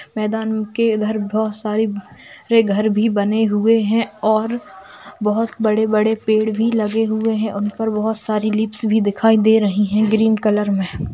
मैदान के घर बहुत सारे घर भी बने हुए है और बहुत बड़े बड़े पेड़ भी लगे हुए है और उन पर बहुत सारी लिप्स दिखाई दे रही है ग्रीन कलर में।